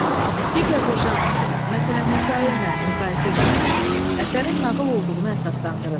Digər bir janrla, məsələn hekayə ilə müqayisə etməklə əsərin nağıl olduğuna əsaslandırın.